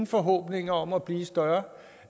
forhåbninger om at blive større